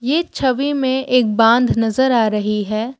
ये छवि में एक बांध नजर आ रही है।